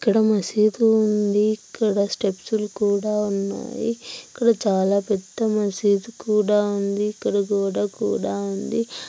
ఇక్కడ మాసిద్ధూ ఉంది. ఇక్కడ స్టెప్స్ కూడా ఉన్నాయి. ఇక్కడ చాలా పెద్ద మాసిద్ధూ కూడా ఉంది. ఇక్కడ గోడ కూడా ఉంది.